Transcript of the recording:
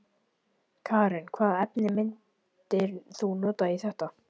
Karen: Hvaða efni myndir þú nota í þetta?